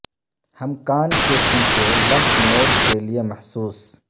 ہم کان کے پیچھے لمف نوڈ کے لئے محسوس